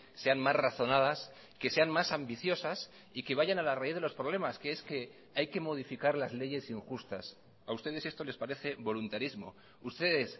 sean más razonadas que sean más ambiciosas y que vayan a la raíz de los problemas que es que hay que modificar las leyes injustas a ustedes esto les parece voluntarismo ustedes